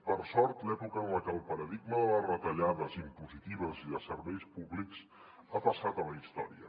per sort l’època del paradigma de les retallades impositives i de serveis públics ha passat a la història